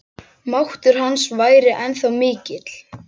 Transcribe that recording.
Máttur hans væri ennþá mikill.